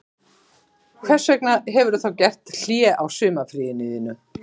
Hvers vegna hefurðu þá gert hlé á sumarfríinu þínu